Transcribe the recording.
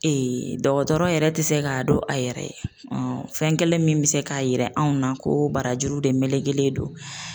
dɔgɔtɔrɔ yɛrɛ tɛ se k'a dɔn a yɛrɛ ye fɛn kelen min bɛ se k'a yira anw na ko barajuru de melekelen don.